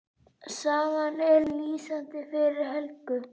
Sagan er lýsandi fyrir Helgu.